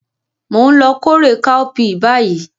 Mo n lo kórè káópiì báyì